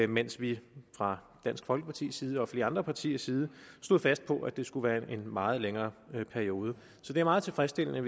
mens vi fra dansk folkepartis side og flere andre partiers side stod fast på at det skulle være en meget længere periode så det er meget tilfredsstillende